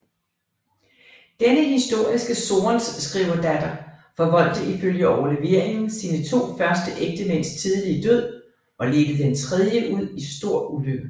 Denne historiske sorenskriverdatter forvoldte ifølge overleveringen sine to første ægtemænds tidlige død og ledte den tredje ud i stor ulykke